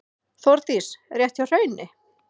Þórdís: Rétt hjá Hrauni?